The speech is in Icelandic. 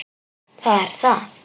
Það er það.